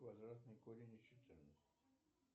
квадратный корень из четырнадцати